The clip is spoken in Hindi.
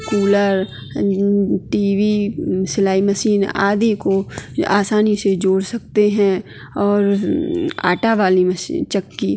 कूलर टी.वी सिलाई मशीन आदि को आसानी से जोड़ सकते है और आटा वाली मशीन चक्की --